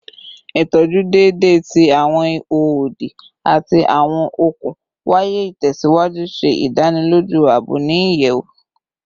Itọju deede ti awọn iho odi ati awọn okun waya itẹsiwaju ṣe idaniloju aabo ni iyẹwu